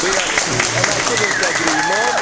reality, and I could not agree more.